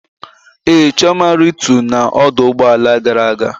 Ee, Chioma rịtu na ọdụ ụgbọ ala gara aga